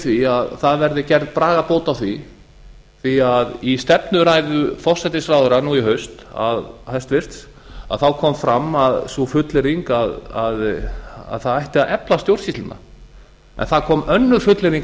því að það verði gerð bragarbót á því því að í stefnuræðu hæstvirts forsætisráðherra nú í haust kom fram sú fullyrðing að það ætti að efla stjórnsýsluna en það kom önnur fullyrðing